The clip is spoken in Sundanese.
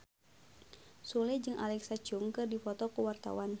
Sule jeung Alexa Chung keur dipoto ku wartawan